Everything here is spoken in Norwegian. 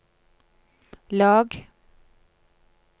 lag